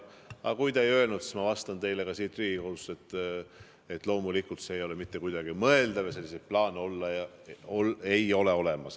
Aga kui te ei öelnud, siis ma vastan teile ka siin Riigikogus, et loomulikult ei ole see mitte kuidagi mõeldav ja selliseid plaane ei ole olemas.